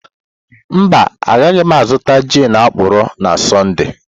Mba, agaghị m azụta gin akọrọ na Sọnde.